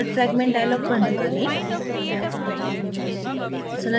insert fragment dialog बंद करें